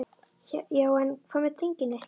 Já en. hvað með drenginn litla?